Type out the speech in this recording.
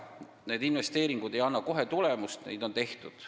Need investeeringud ei anna kohe tulemust, see võtab aega, aga neid on tehtud.